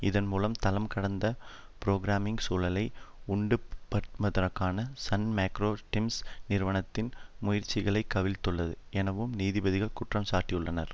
இதன் மூலம் தளம் கடந்து புரோகிராமிங் சூழலை உண்டுபண்ணுதற்கான சன் மைக்ரோ சிஸ்டம்ஸ் நிறுவனத்தின் முயற்சிகளை கவிழ்த்துள்ளது எனவும் நீதிபதிகள் குற்றம்சாட்டியுள்ளனர்